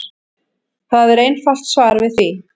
Það er einfalt svar við því.